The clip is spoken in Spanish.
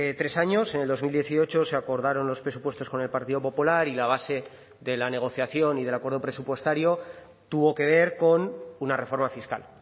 tres años en dos mil dieciocho se acordaron los presupuestos con el partido popular y la base de la negociación y del acuerdo presupuestario tuvo que ver con una reforma fiscal